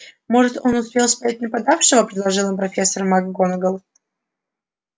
может он успел снять нападавшего предположила профессор макгонагалл